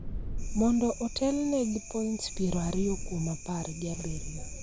mondo otelne gi points piero ariyo kuom apar gi abiriyo.